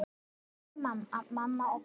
Kveðja mamma og pabbi.